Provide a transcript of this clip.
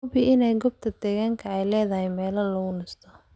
Hubi in goobta digaaga ay leedahay meelo lagu nasto.